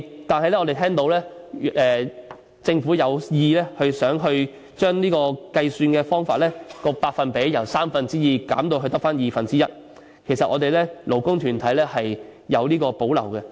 但是，我們聽到政府有意把金額計算方法的百分比，由三分之二減至二分之一，其實我們勞工團體對此有所保留。